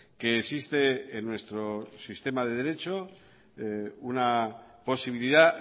que existe en nuestro sistema de derecho una posibilidad